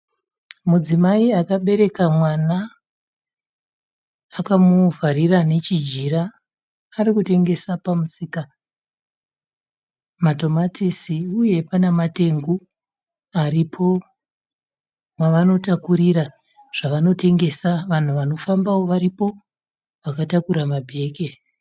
Mudzimai akabereka mwana akamuvharira nechijira. Arikutengesa pamusika, matomatisi, uye pane matengu aripo avanotakurira zvavanotengesa. Vanhu vanofambawo varipo vakatakura mabhegi.